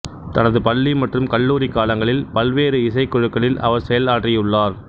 தனது பள்ளி மற்றும் கல்லூரி காலங்களில் பல்வேறு இசைக் குழுக்களில் அவர் செயல் ஆற்றியுள்ளார்